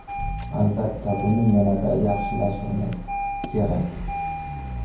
Albatta, buni yanada yaxshilashimiz kerak.